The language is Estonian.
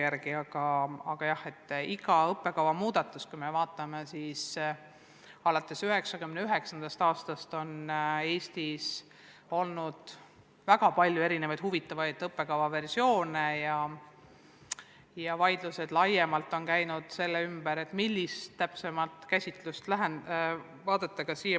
Aga jah, kui me vaatame aega alates 1999. aastast, siis Eestis on olnud väga palju erinevaid ja huvitavaid õppekava versioone ja vaidlused on käinud selle ümber, millist käsitlust vaadata.